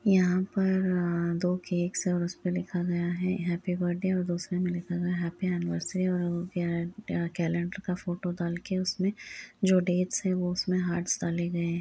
यहाँ पर दो केक्स और उस पे लिखा लगा है हैप्पी बर्थडे और दूसरे में लिखा गया है हैप्पी एनिवर्सरी और वो क्या कैलेंडर का फोटो डालके उसमे जो डेट्स है वो उसमे हार्ट्स डाले गये --